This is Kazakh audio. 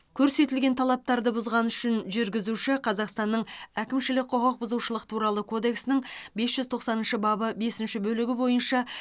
көрсетілген талаптарды бұзғаны үшін жүргізуші қазақстанның әкімшілік құқық бұзушылық туралы кодексінің бес жүз тоқсаныншы бабы бесінші бөлігі бойынша